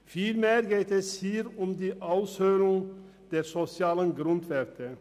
Vielmehr geht es hier um die Aushöhlung der sozialen Grundwerte.